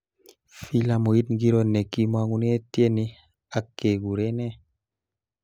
Filamuit ngiro nekimongune tieni ake kurene